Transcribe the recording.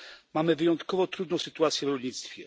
Mamy wyjątkowo trudną sytuację w rolnictwie.